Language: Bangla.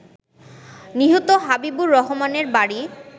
নিহত হাবিবুর রহমানের বাড়ি